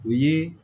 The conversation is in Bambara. U ye